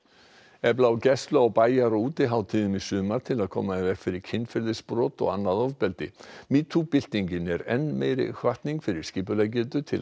efla á gæslu á bæjar og útihátíðum í sumar til að koma í veg fyrir kynferðisbrot og annað ofbeldi metoo byltingin er enn meiri hvatning fyrir skipuleggjendur til